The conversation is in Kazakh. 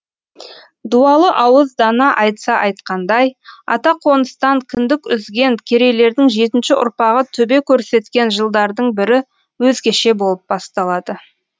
дуалы ауыз дана айтса айтқандай ата қоныстан кіндік үзген керейлердің жетінші ұрпағы төбе көрсеткен жылдардың бірі өзгеше болып басталады